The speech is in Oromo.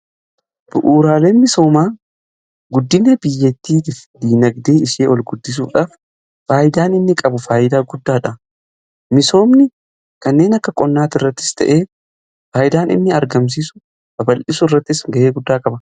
Bu'uuraalee misoomaa guddina biyyattii fi diinagdee ishee ol guddisuudhaaf faayidaan inni qabu faayidaa guddaadha. Misoomni kanneen akka qonnaati irrattis ta'ee faayidaan inni argamsiisu babal'isuu irrattis ga'ee guddaa Qaba.